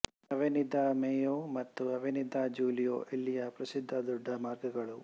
Avenida de Mayo ಮತ್ತು Avenida de Julio ಇಲ್ಲಿಯ ಪ್ರಸಿದ್ಧ ದೊಡ್ಡ ಮಾರ್ಗಗಳು